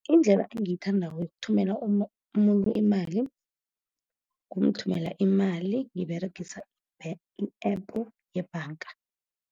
Indlela engiyithandako yothumela umuntu imali, kumthumela imali ngiberegisa i-App yebhanga.